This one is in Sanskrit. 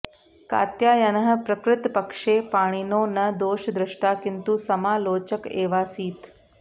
कात्यायनः प्रकृतपक्षे पाणिनो न दोषद्रष्टा किन्तु समालोचक एवासीत्